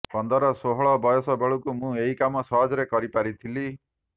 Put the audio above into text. ପନ୍ଦର ଷୋହଳ ବୟସ ବେଳକୁ ମୁଁ ଏହି କାମ ସହଜରେ କରିପାରିଥିଲି